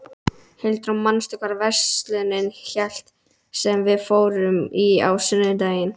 Hildur, manstu hvað verslunin hét sem við fórum í á sunnudaginn?